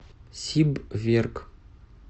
сибверк